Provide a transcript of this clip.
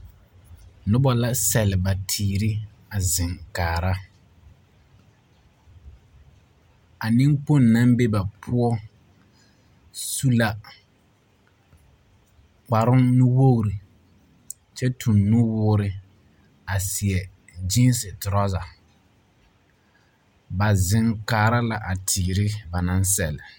Noba la sɛle ba teere a zeŋ kaara. A neŋkpoŋ na ŋ be ba poɔ su la kparoŋ nuwoori kyɛ toŋ nuwoore a seɛ geense torasa. Ba zeŋ kaara la a teere ba naŋ sɛle.